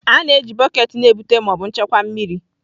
A na-eji bọket na-ebute ma ọ bụ nchekwa mmiri.